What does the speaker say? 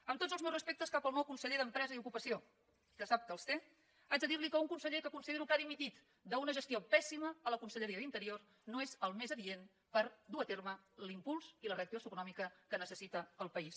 amb tots els meus respectes cap al nou conseller d’empresa i ocupació que sap que els té haig de dir li que un conseller que considero que ha dimitit d’una gestió pèssima a la conselleria d’interior no és el més adient per dur a terme l’impuls i la reactivació econòmica que necessita el país